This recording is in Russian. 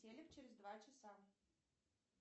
телек через два часа